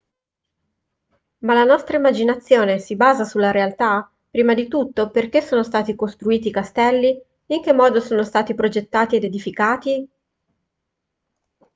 ma la nostra immaginazione si basa sulla realtà prima di tutto perché sono stati costruiti i castelli in che modo sono stati progettati ed edificati